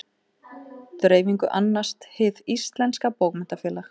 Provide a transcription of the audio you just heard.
Dreifingu annast Hið íslenska bókmenntafélag.